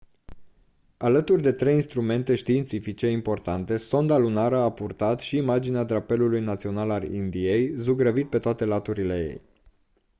alături de trei instrumente științifice importante sonda lunară a purtat și imaginea drapelului național al indiei zugrăvit pe toate laturile ei